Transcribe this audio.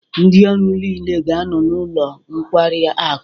Ndị ọrụ niile ga-anọ n'ụlọ nkwari akụ.